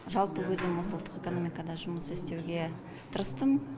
жалпы өзім осы ұлттық экономикада жұмыс істеуге тырыстым